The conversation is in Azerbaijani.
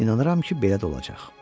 İnanıram ki, belə də olacaq.